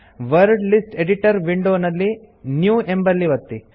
word list editor window ನಲ್ಲಿ new ಎಂಬಲ್ಲಿ ಒತ್ತಿ